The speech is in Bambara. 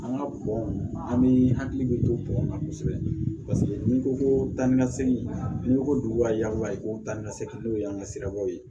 An ka bɔn an bɛ hakili bɛ to bɔn na kosɛbɛ paseke n'i ko ko danni ka segin n'i ko ko duguba yan i ko danni ka segi n'o ye an ka sirabaw ye